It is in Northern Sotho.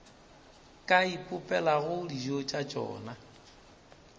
ka ipopelago dijo tša tšona